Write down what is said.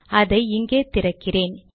அதை இங்கே திறக்கிறேன்